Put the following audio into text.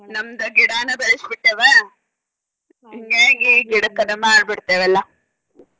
ನಮ್ದ ಗಿಡನ ಬೆಳ್ಸಿ ಬಿಟ್ಟೆವ ಹಿಂಗಾಗಿ ಗಿಡಕ್ಕದ ಮಾಡಿ ಬಿಡ್ತೇವ ಎಲ್ಲ.